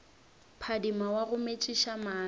phadima wa go metšiša mare